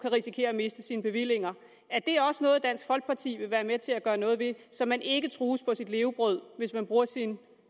risikere at miste sine bevillinger er det også noget dansk folkeparti vil være med til at gøre noget ved så man ikke trues på sit levebrød hvis man bruger sin